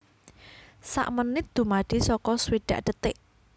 Sak menit dumadi saka swidak detik